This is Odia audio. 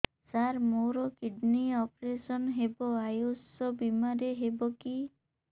ସାର ମୋର କିଡ଼ନୀ ଅପେରସନ ହେବ ଆୟୁଷ ବିମାରେ ହେବ କି